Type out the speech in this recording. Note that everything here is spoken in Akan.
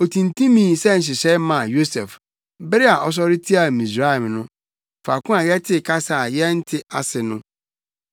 Otintimii sɛ nhyehyɛe maa Yosef bere a ɔsɔre tiaa Misraim no, faako a yɛtee kasa a yɛnte ase no.